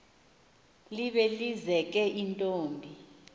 libe lizeke intombi